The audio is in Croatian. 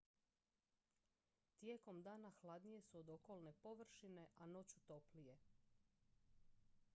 tijekom dana hladnije su od okolne površine a noću toplije